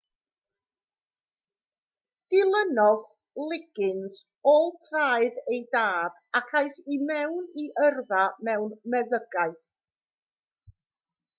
dilynodd liggins ôl traed ei dad ac aeth i mewn i yrfa mewn medddygaeth